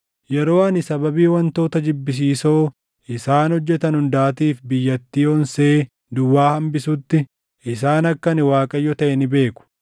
Yeroo ani sababii wantoota jibbisiisoo isaan hojjetan hundaatiif biyyattii onsee duwwaa hambisutti, isaan akka ani Waaqayyo taʼe ni beeku.’